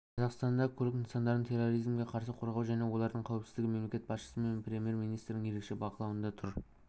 қазақстанда көлік нысандарын терроризмге қарсы қорғау және олардың қауіпсіздігі мемлекет басшысы мен премьер-министрдің ерекше бақылауында тұр